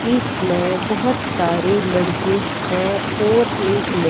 इसमें बहोत सारे लड़के हैं और एक लड़--